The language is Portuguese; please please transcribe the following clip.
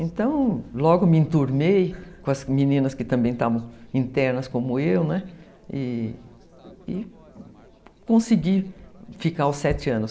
Então, logo me entornei com as meninas que também estavam internas, como eu, né, e e consegui ficar os sete anos.